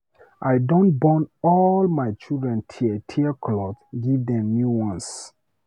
I don burn all my children tear-tear cloth give dem new ones.